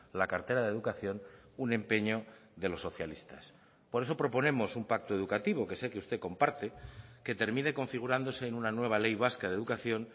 la cartera de educación un empeño de los socialistas por eso proponemos un pacto educativo que sé que usted comparte que termine configurándose en una nueva ley vasca de educación